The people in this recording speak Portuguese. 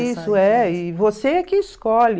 Isso, é. E você é que escolhe.